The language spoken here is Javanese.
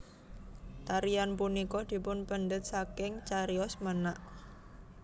Tarian punika dipunpendhet saking cariyos menak